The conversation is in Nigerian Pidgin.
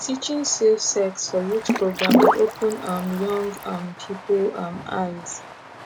teaching safe sex for youth program dey open um young um people um eyes